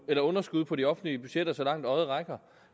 er underskud på de offentlige budgetter så langt øjet rækker